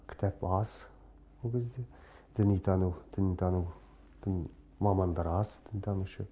кітап аз ол кезде дінитану дінтану дін мамандар аз дінтанушы